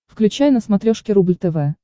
включай на смотрешке рубль тв